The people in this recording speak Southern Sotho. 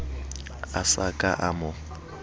a sa ka a mo